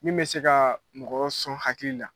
Min bɛ se ka mɔgɔ sɔn hakili la